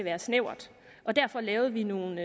er snævert derfor lavede vi nogle